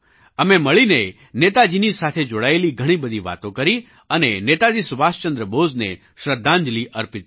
અમે મળીને નેતાજીની સાથે જોડાયેલી ઘણી બધી વાતો કરી અને નેતાજી સુભાષચંદ્ર બોઝને શ્રદ્ધાંજલિ અર્પિત કરી